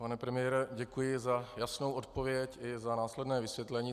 Pane premiére, děkuji za jasnou odpověď i za následné vysvětlení.